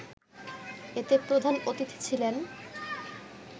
এতে প্রধান অতিথি ছিলেন